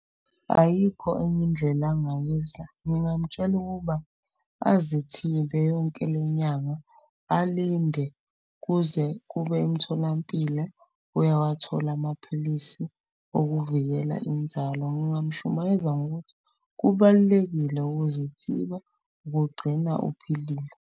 Ayikho enye indlela angayiza, ngingamtshela ukuba azithibe yonke le nyanga. Alinde kuze kube emtholampilo uyawathola amaphilisi okuvikela inzalo. Ngingamshumayeza ngokuthi kubalulekile ukuzithiba kugcina uphilile.